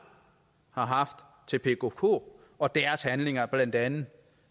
har haft til pkk og deres handlinger blandt andet